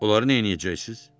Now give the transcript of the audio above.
Onları nə edəcəksiniz?